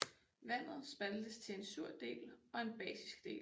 Vandet spaltes til en sur del og en basisk del